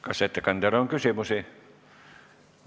Kas ettekandjale on küsimusi?